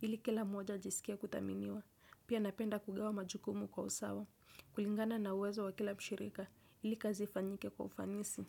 Ili kila mmoja ajisikie kuthaminiwa. Pia, napenda kugawa majukumu kwa usawa. Kulingana na uwezo wa kila mshirika. Ili kazi ifanyike kwa ufanisi.